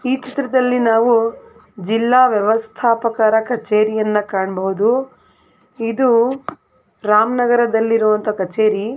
ಈ ಚಿತ್ರದಲ್ಲಿ ನಾವು ಜಿಲ್ಲಾ ವ್ಯವಸ್ಥಾಪಕರ ಕಛೇರಿಯನ್ನ ಕಾಣಬಹುದು ಇದು ರಾಮನಗರದಲ್ಲಿ ಇರುವಂತ ಕಛೇರಿ.